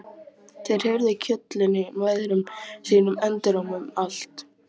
Þeir heyrðu köllin í mæðrum sínum enduróma um allt.